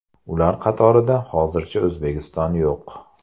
Ular qatorida hozircha O‘zbekiston yo‘q.